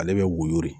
Ale bɛ woyo